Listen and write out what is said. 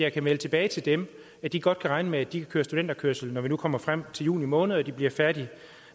jeg kan melde tilbage til dem og de godt kan regne med at de kan køre studenterkørsel når vi nu kommer frem til juni måned og de bliver færdige